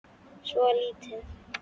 Svo lítill.